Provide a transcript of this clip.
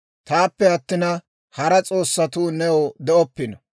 «Taappe attina, hara s'oossatuu new de'oppino.